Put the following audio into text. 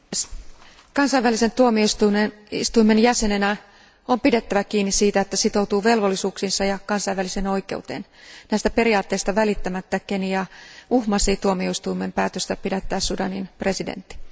Arvoisa puhemies, kansainvälisen tuomioistuimen jäsenenä on pidettävä kiinni siitä, että sitoutuu velvollisuuksiinsa ja kansainväliseen oikeuteen. Näistä periaatteista välittämättä Kenia uhmasi tuomioistuimen päätöstä pidättää Sudanin presidentti.